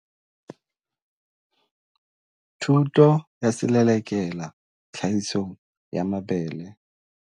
Thuto ya Selelekela Tlhahisong ya Mabele.